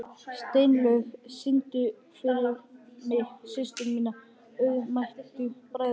Steinlaug, syngdu fyrir mig „Systir minna auðmýktu bræðra“.